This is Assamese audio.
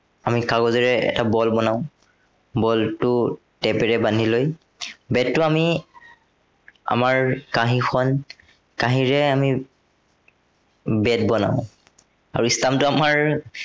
আমি কাগজেৰে এটা বল বনাও। বলটো tap ৰে বান্ধি লৈ bat টো আমি আমাৰ কাঁহিখন, কাঁহিৰে আমি bat বনাও। আৰু stamp টো আমাৰ